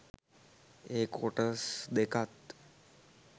ඒ කොටස් දෙකත්